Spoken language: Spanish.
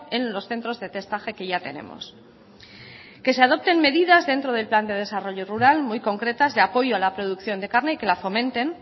en los centros de testaje que ya tenemos que se adopten medidas dentro del plan de desarrollo rural muy concretas de apoyo a la producción de carne y que la fomenten